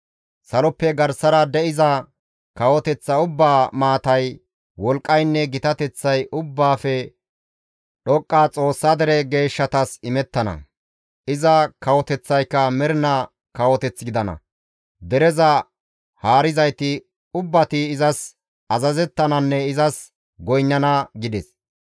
Saloppe garsara de7iza kawoteththa ubbaa maatay, wolqqaynne gitateththay Ubbaafe Dhoqqa Xoossaa dere geeshshatas imettana. Iza kawoteththayka mernaa kawoteth gidana; dereza haarizayti ubbati izas azazettananne izas goynnana› gides.